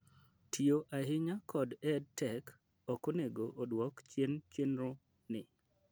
tiyo ahinya kod EdTech ok onego oduok chien chenro ni